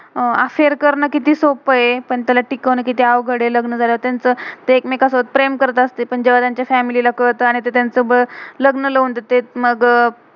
अह affair affair करणं कीती सोप्प ए. पण त्याला तिकवान्न कीती अवघड आहे. लग्न झाल्यावर त्यांचं ते एक मेका सोबत प्रेम करत असते. पण दोघांच्या फॅमिली family कळत आणि ते त्यांच लग्न लावून देतात मग